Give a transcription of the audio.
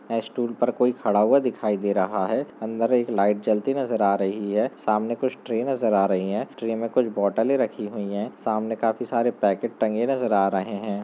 एस्टूल पर कोई खड़ा हुआ दिखाई दे रहा हैं अंदर एक लाइट जलती नजर आ रही हैं सामने कुछ ट्रे नजर आ रही हैं ट्रे में कुछ बॉटल रखी हुई हैं सामने काफी सारे पैकेट टंगे नज़र आ रहे हैं।